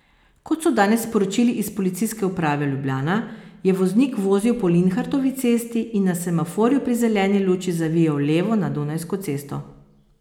Kot so danes sporočili iz policijske uprave Ljubljana, je voznik vozil po Linhartovi cesti in na semaforju pri zeleni luči zavijal levo na Dunajsko cesto.